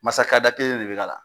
kelen de bɛ k'a la.